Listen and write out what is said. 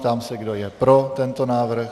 Ptám se, kdo je pro tento návrh.